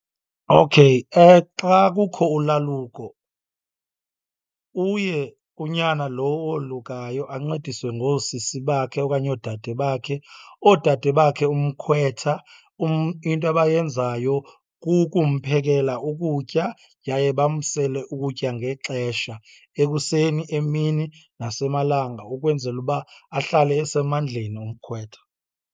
Okay xa kukho ulaluko uye unyana lo wolukayo ancediswe ngoosisi bakhe okanye oodade bakhe. Oodade bakhe umkhwetha into abayenzayo kukumphekela ukutya yaye bamsele ukutya ngexesha, ekuseni, emini nasemalanga ukwenzela uba ahlale esemandleni umkhwetha.